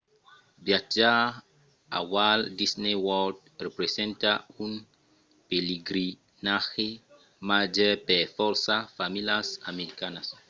viatjar a walt disney world representa un pelegrinatge màger per fòrça familhas americanas